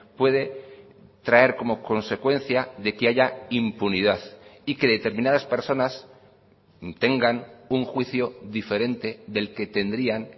puede traer como consecuencia de que haya impunidad y que determinadas personas tengan un juicio diferente del que tendrían